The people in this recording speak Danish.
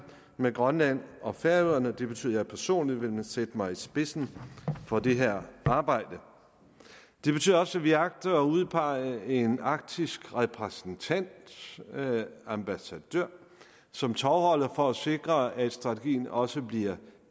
med grønland og færøerne og det betyder at jeg personligt vil sætte mig i spidsen for det her arbejde det betyder også at vi agter at udpege en arktisk repræsentant ambassadør som tovholder for at sikre at strategien også bliver